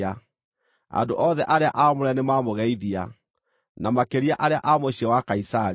Andũ othe arĩa aamũre nĩmamũgeithia, na makĩria arĩa a mũciĩ wa Kaisari.